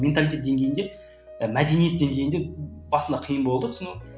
менталитет деңгейінде ы мәдениет деңгейінде басында қиын болды түсіну